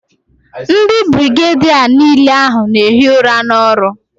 Ndi birigedia n'ile ahu n'ehi ura n'oru